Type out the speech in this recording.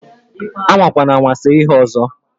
Amakwanama se ihe ọzọ!